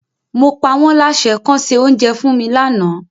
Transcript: Mo pa wọ́n láṣẹ kọ́ se oúnjẹ fún mi lánàá.